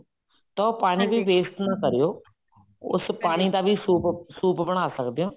ਤਾਂ ਉਹ ਪਾਣੀ ਵੀ waste ਨਾ ਕਰਿਓ ਉਸ ਪਾਣੀ ਦਾ ਸੂਪ ਸੂਪ ਬਣਾ ਸਕਦੇ ਹੋ